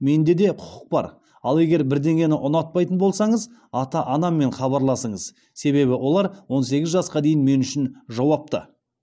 менде де құқық бар ал егер бірдеңені ұнатпайтын болсаңыз ата анаммен хабарласыңыз себебі олар он сегіз жасқа дейін мен үшін жауапты